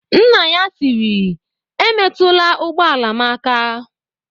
"Nna ya tiri "Emetụla ụgbọala m aka!"